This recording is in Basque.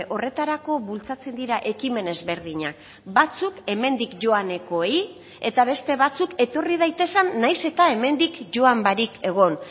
horretarako bultzatzen dira ekimen ezberdinak batzuk hemendik joanekoei eta beste batzuk etorri daitezen nahiz eta hemendik joan barik egon